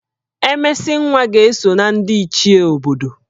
Emesinwa ga-eso na ndị Ichie obodo